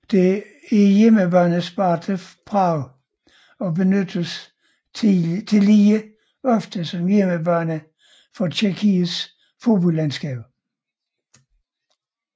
Det er hjemmebane Sparta Prag og benyttes tillige ofte som hjemmebane for tjekkiets fodboldlandshold